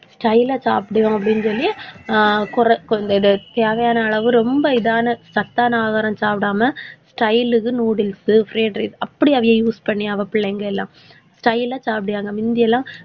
style ஆ சாப்பிடுவோம் அப்படின்னு சொல்லி ஆஹ் தேவையான அளவு ரொம்ப இதான சத்தான ஆகாரம் சாப்பிடாம style க்கு, noodles உ fried rice அப்படி அதையே use பண்ணி அவள் பிள்ளைங்க எல்லாம் style ஆ சாப்பிடுவாங்க. முந்தி எல்லாம்,